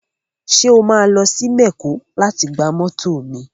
Ṣé wà á lọ sí mẹ̀kó láti gba mọ́tọ̀ mi